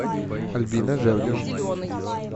альбина жердева